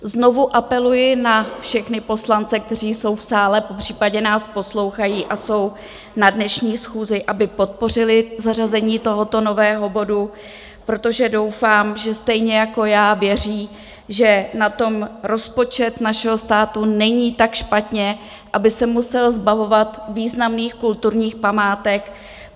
Znovu apeluji na všechny poslance, kteří jsou v sále, popřípadě nás poslouchají a jsou na dnešní schůzi, aby podpořili zařazení tohoto nového bodu, protože doufám, že stejně jako já věří, že na tom rozpočet našeho státu není tak špatně, aby se musel zbavovat významných kulturních památek.